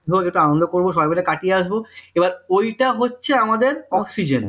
ধরো আনন্দ করবো সবাই মিলে কাটিয়ে আসব এবার ওইটা হচ্ছে আমাদের oxygen